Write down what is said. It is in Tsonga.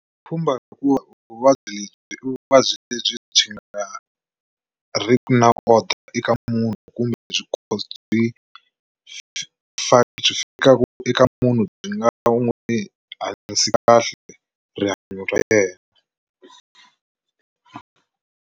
Pfhumba hikuva vuvabyi lebyi i vuvabyi lebyi byi nga ri ki na order eka munhu kumbe byi byi byi fikaka eka munhu byi nga n'wi hanyisi kahle rihanyo ra yena.